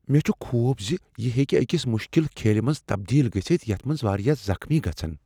مےٚ چھ خوف زِ یہ ہیٚکہ أکس مشکل کھیلہ منز تبدیل گژھتھ یتھ منز واریاہ زخمی گژھن۔